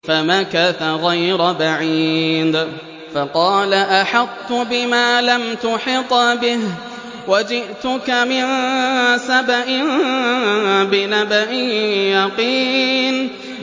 فَمَكَثَ غَيْرَ بَعِيدٍ فَقَالَ أَحَطتُ بِمَا لَمْ تُحِطْ بِهِ وَجِئْتُكَ مِن سَبَإٍ بِنَبَإٍ يَقِينٍ